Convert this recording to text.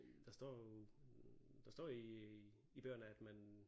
Der står jo der står i i bøgerne at man